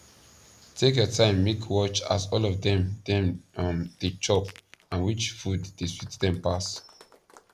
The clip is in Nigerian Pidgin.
take ur time make watch as all of them them um da chop and which food the swet them pass